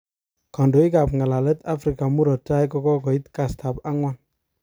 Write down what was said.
Kondoik kap ngalalet Africa morot tai, kokoit kastab agwan.